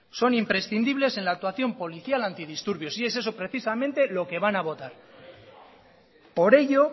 son imprescindibles en la actuación policial antidisturbios y es eso precisamente lo que van a votar por ello